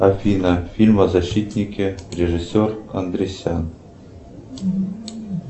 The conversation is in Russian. афина фильм о защитнике режиссер андресян